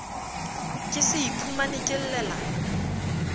ke se iphumane ke llela